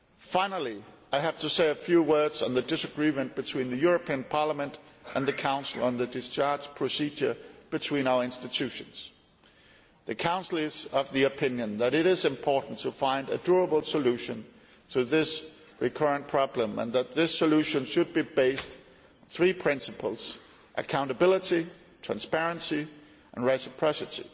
Finally, I have to say a few words on the disagreement between the European Parliament and the Council on the discharge procedure between our institutions. The Council is of the opinion that it is important to find a durable solution to this recurring problem and that this solution should be based on three principles accountability, transparency and reciprocity.